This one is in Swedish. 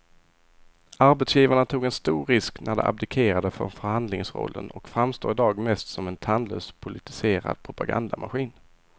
Arbetsgivarna tog en stor risk när de abdikerade från förhandlingsrollen och framstår i dag mest som en tandlös politiserad propagandamaskin.